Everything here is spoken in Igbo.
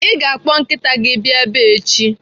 Ị ga-akpọ nkịta gị abịa ebe a echi!